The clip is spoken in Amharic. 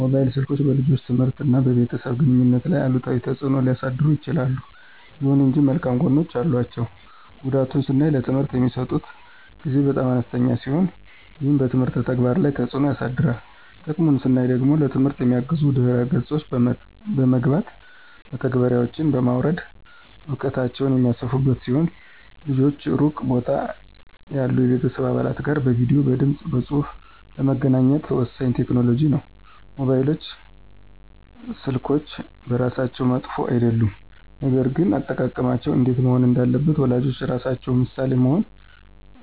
ሞባይል ስልኮች በልጆች ትምህርት እና በቤተሰብ ግንኙነት ላይ አሉታዊ ተጽዕኖ ሊያሳድሩ ይችላሉ። ይሁን እንጂ መልካም ጎኖችም አሏቸው። ጉዳቱን ስናይ ለትምህርት የሚሰጡት ጊዜ በጣም አነስተኛ ሲሆን ይህም በትምህርት ተግባር ላይ ተጽዕኖ ያሳድራል። ጥቅሙን ስናይ ደግሞ ለትምህርት የሚያግዙ ድህረ ገጾች በመግባት (መተግበሪያዎችን) በማውረድ እውቀታቸውን የሚያሰፉ ሲሆን ልጆች ሩቅ ቦታ ያሉ የቤተሰብ አባላት ጋር በቪዲዬ፣ በድምፅ በፁሁፍ ለመገናኘት ወሳኝ ቴክኖሎጂ ነው። ሞባይል ስልኮች በራሳቸው መጥፎ አይደሉም፣ ነገር ግን አጠቃቀማቸው እንዴት መሆን እንዳለበት ወላጆች ራሳቸው ምሳሌ በመሆን